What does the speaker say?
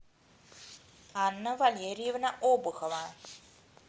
анна валерьевна обухова